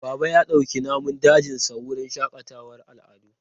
Baba ya dauki namun dajinsa wurin shakatawar al'adu.